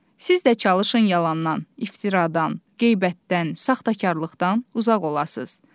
Siz də çalışın yalandan, iftiradan, qeybətdən, saxtakarlıqdan uzaq olasız.